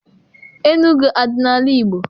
Enugu adị n'ala Igbo?